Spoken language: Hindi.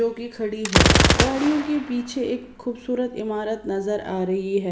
जो कि खड़ी है गाड़ियों के पीछे एक खूबसूरत इमारत नजर आ रही है।